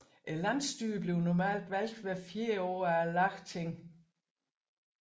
Landsstyret bliver normalt valgt hvert fjerde år af Lagtinget